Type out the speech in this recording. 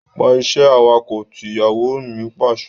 Pa iṣẹ́ awakọ̀ tí! Ìyàwó mi Pàṣẹ.